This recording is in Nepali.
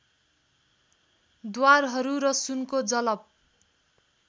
द्वारहरू र सुनको जलप